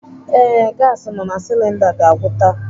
Ee, gasi nọ na silinda ga-agwụ taa.